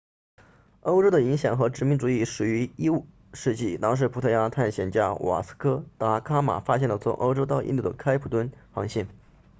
欧洲的影响和殖民主义始于15世纪当时葡萄牙探险家瓦斯科达伽马 vasco da gama 发现了从欧洲到印度的开普敦航线